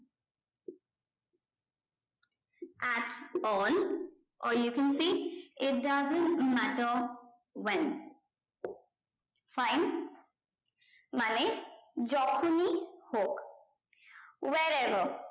at all or you can see it doesn't matter when fine মানে যখনি হোক where above